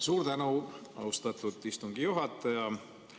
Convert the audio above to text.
Suur tänu, austatud istungi juhataja!